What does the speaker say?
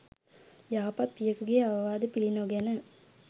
යහපත් පියකුගේ අවවාද පිළිනොගෙන